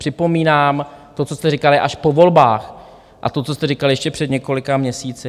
Připomínám to, co jste říkali až po volbách, a to, co jste říkali ještě před několika měsíci.